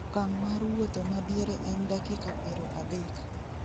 okang' mar wuotho madiere en dakiaka 30